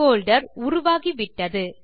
folder உருவாகிவிட்டது